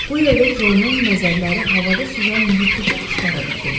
Bu yerdə Jonun nəzərləri havada süzən yırtıcı quşlara dikildi.